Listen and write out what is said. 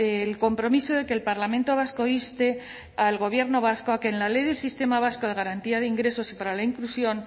el compromiso de que el parlamento vasco inste al gobierno vasco a que en la ley del sistema vasco de garantía de ingresos y para la inclusión